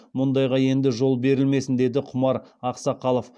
мұндайға енді жол берілмесін деді құмар ақсақалов